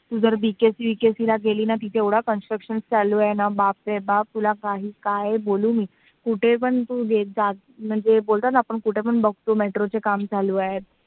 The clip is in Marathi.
तू जर VKC-BKC ला गेलीस ना तिथे ना आता एवढा आता construction चालू आहे बापरे बाप! तुला तुला काही बोलू नको. कुठे पण तू गेली जाते ना म्हणजे बोलतात ना आपण बघतो कुठे पण metro चा काम चालू आहे.